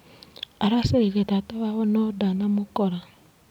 Aracereire tata wao no ndanamũkora.